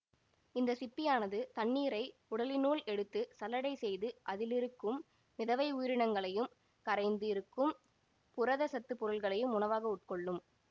இந்த சிப்பியானது தண்ணீரை உடலினுள் எடுத்து சல்லடை செய்து அதிலிருக்கும் மிதவை உயிரினங்களையும் கரைந்து இருக்கும் புரத சத்து பொருள்களையும் உணவாக உட்கொள்ளும்